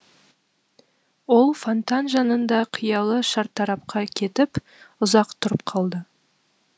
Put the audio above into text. ол фонтан жанында қиялы шартарапқа кетіп ұзақ тұрып қалды